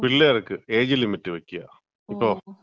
പിള്ളേർക്ക് age limit വെക്കാ. ഇപ്പം.